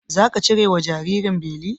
Zaka cire wa jinjirin beli?